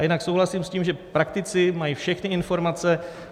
A jinak souhlasím s tím, že praktici mají všechny informace.